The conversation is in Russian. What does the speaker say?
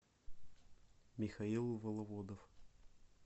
михаил воловодов